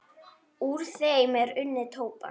Úr þeim er unnið tóbak.